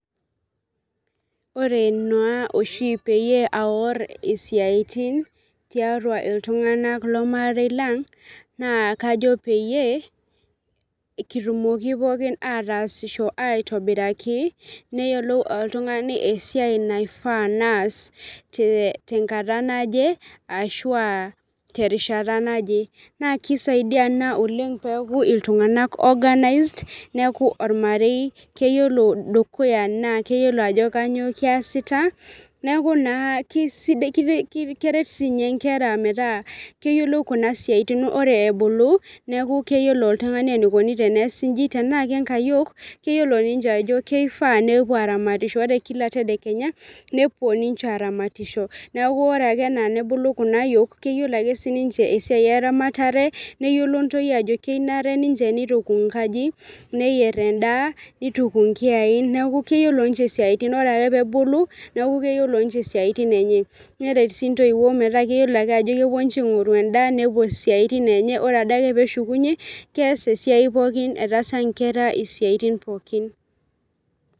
Ore naa oshi naa peyie aaor isiatin tiatua ormarei lang naa kajo peyie kitumoki poookin ataasisho aitobiraki neyiolou oltung'ani esiai naifaa naas tenkata naje ashua terishata naje naa keisaidia ena peeku iltung'anak organized neeku ormarei keyiolo dukuya naa keyiolo ajo kanyioo kiasita neeku naa keret inkira metaa keyiolou kuna siaitin ore ebulu neeku keyiolo oltung'ani eneikoni teneesi inchi tenaa ke nkayiok keyiolo ninche ajo keifaa nepuo aaramatisho neeku ore ake enaa nebulu kulo aayiok keyiolo ake siininche esiai eramatare keyiolo ake aajo kenare neituku enkaji neyier endaa neituku inkiyai neeku keyiolo ninche isiatin neeku ore ake peebulu keyiolo ninche isiaitin enye neret sii intoiwuo metaa keyiolo ajo kepuo ninche aing'oru endaa nepuo isiatin enye ore adake peeshukunye keas esiai etaasa inkera isiatin pookin.